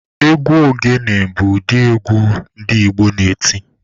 Egwu ogene bụ ụdị egwu ndị Igbo na-eti.